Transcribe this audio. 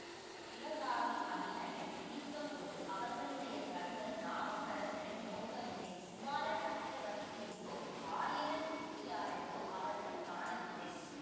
சிவகாமி அபிநயம் பிடித்தபோது அவர்களுடைய கண்கள் நாவுக்கரசரை நோக்கவில்லை குமார சக்கரவர்த்தியையோ ஆயன சிற்பியாரையோ அவர்கள் காணவில்லை